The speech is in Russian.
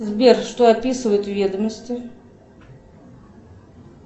сбер что описывают в ведомости